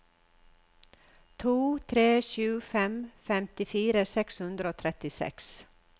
to tre sju fem femtifire seks hundre og trettiseks